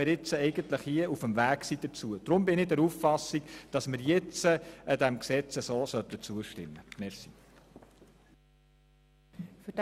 Deshalb bin ich der Auffassung, dass wir diesem nun so zustimmen sollten.